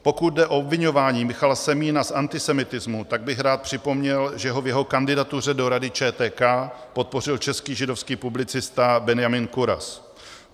Pokud jde o obviňování Michala Semína z antisemitismu, tak bych rád připomněl, že ho v jeho kandidatuře do Rady ČTK podpořil český židovský publicista Benjamin Kuras.